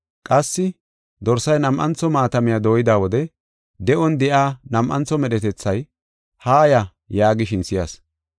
Qassi dorsay nam7antho maatamiya dooyida wode de7on de7iya nam7antho medhetethay, “Haaya!” yaagishin si7as.